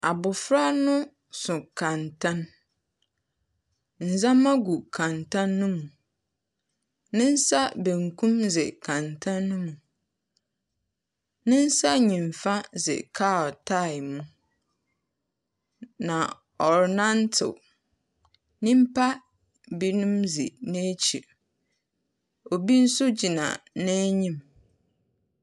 Abɔfraba no so kɛntɛn. Ndzɛma gu kɛntɛn no mu. Ne nsa benkum no dze kɛntɛn no mu. Ne nsa nyifa dze ka tyre mu na ɔrenantew. Nnimpa benum dzi n’ekyi. Obi nso gyina n’enyim.